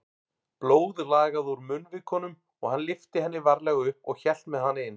Blóð lagaði úr munnvikunum og hann lyfti henni varlega upp og hélt með hana inn.